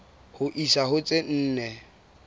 ho isa ho tse nne